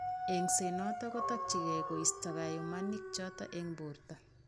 Eng'set notok kotorchingei koisto kayumanik chotok eng' borto